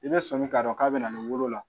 I bɛ sɔmi k'a dɔn k'a bɛ na ni wolo la